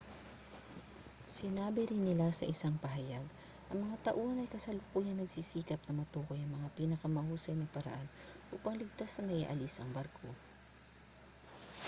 sinabi rin nila sa isang pahayag ang mga tauhan ay kasalukuyang nagsisikap na matukoy ang pinakamahusay na paraan upang ligtas na maialis ang barko